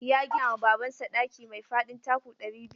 Ya gina ma Babansa ɗaki mai faɗin taku ɗari biyu.